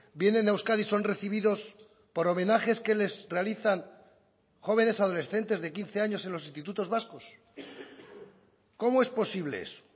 vienen a euskadi y son recibidos por homenajes que les realizan jóvenes adolescentes de quince años en los institutos vascos cómo es posible eso